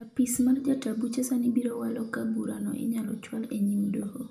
apis mar jata buche sani biro walo ka burano inyalo chwal enyim doho